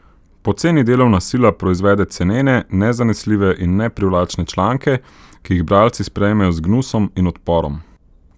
Poceni delovna sila proizvede cenene, nezanesljive in neprivlačne članke, ki jih bralci sprejmejo z gnusom in odporom.